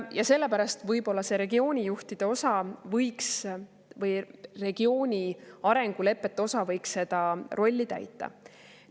Ja sellepärast võib-olla see regioonijuhtide osa või regiooni arengulepete osa võiks seda rolli täita.